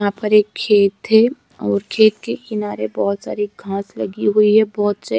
यहां पर एक खेत है और खेत किनारे बहोत सारी घास लगी हुई है बहोत से--